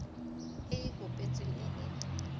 e e kopetsweng e e